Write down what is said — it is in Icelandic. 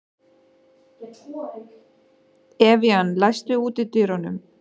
Evían, læstu útidyrunum.